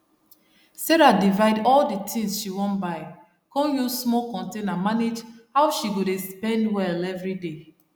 sarah divide all d tins she wan buy con use small container manage how she go dey spend well everyday